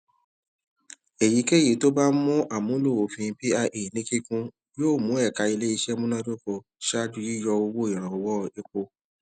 èyíkéyìí tó bá ṣe àmúlò òfin pia ní kíkún yóò mú ẹka iléiṣẹ múnádóko ṣaájú yíyọ owó ìrànwọ epo